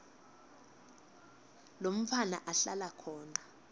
lomntfwana ahlala khona